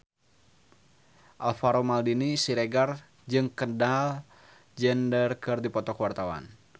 Alvaro Maldini Siregar jeung Kendall Jenner keur dipoto ku wartawan